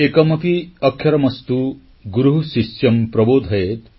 ଏକମପି ଅକ୍ଷରମସ୍ତୁ ଗୁରୁଃ ଶିଷ୍ୟଂ ପ୍ରବୋଧୟେତ୍